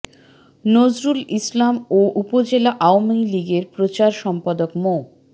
নজরুল ইসলাম ও উপজেলা আওয়ামী লীগের প্রচার সম্পাদক মো